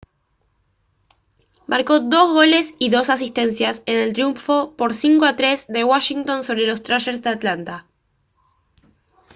marcó 2 goles y 2 asistencias en el triunfo por 5 a 3 de washington sobre los thrashers de atlanta